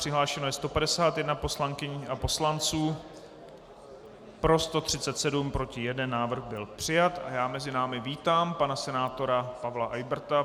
Přihlášeno je 151 poslankyň a poslanců, pro 137, proti 1, návrh byl přijat a já mezi námi vítám pana senátora Pavla Eyberta.